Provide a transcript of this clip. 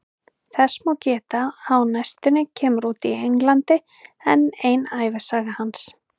Þess má geta að á næstunni kemur út í Englandi enn ein ævisaga hans.